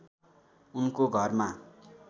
उनको घरमा